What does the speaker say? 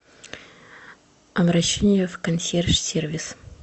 обращение в консьерж сервис